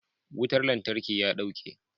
Wutar lantarki ya dauke.